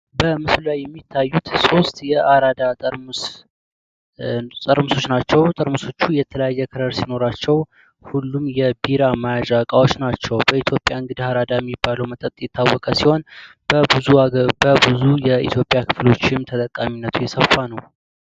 በምስሉ ላይ የሚታዩት ሶስት የአራዳ ጠርሙስ ጠርሙሶች ናቸው። ጠርሙሶቹ የተለያየ ከለር ከለር ሲኖራቸው ሁሉም የቢራ መያዣ እቃዎች ናቸው። በኢትዮጵያ እንግዲህ አራዳ የሚባለው መጠጥ የታወቀ ሲሆን በብዙ የኢትዮጵያ ክፍሎችም ተጠቃሚነቱ የሰፋ ነው።